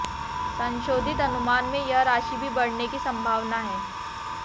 संशोधित अनुमान में यह राशि भी बढऩे की संभावना है